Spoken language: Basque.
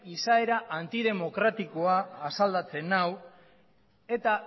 izaera antidemokratikoa asaldatzen nau eta